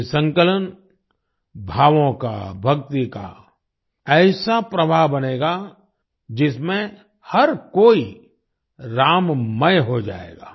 ये संकलन भावों का भक्ति का ऐसा प्रवाह बनेगा जिसमें हर कोई राममय हो जाएगा